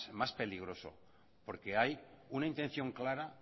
más peligroso porque hay una intención clara